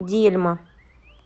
дельма